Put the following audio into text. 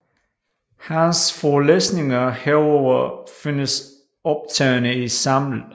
Hans forelæsninger herover findes optagne i Saml